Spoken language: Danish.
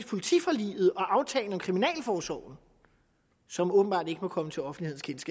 politiforliget og aftalen om kriminalforsorgen som åbenbart ikke var kommet til offentlighedens